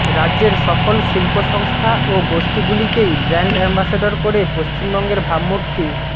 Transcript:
রাজ্যের সফল শিল্প সংস্থা ও গোষ্ঠীগুলিকেই ব্র্যান্ড অ্যাম্বাসাডর করে পশ্চিমবঙ্গের ভাবমূর্তি